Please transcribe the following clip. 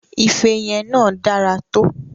Ife yẹn náà dára to.